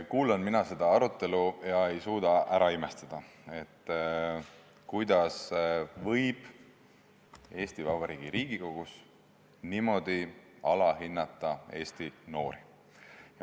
Kuulan mina seda arutelu ja ei suuda ära imestada, kuidas võib Eesti Vabariigi Riigikogus niimoodi alahinnata Eesti noori.